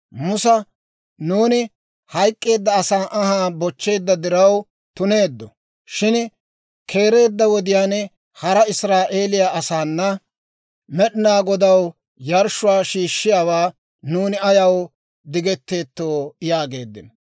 Musa, «Nuuni hayk'k'eedda asaa anhaa bochcheedda diraw tuneeddo; shin keereedda wodiyaan hara Israa'eeliyaa asaanna Med'inaa Godaw yarshshuwaa shiishshiyaawaa nuuni ayaw digetteettoo?» yaageeddino.